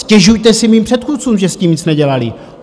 Stěžujte si mým předchůdcům, že s tím nic nedělali!